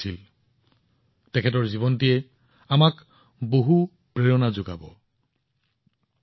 মই তেওঁক দীঘলীয়া জীৱনৰ শুভেচ্ছা জনাইছো